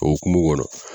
O hokumu kɔnɔ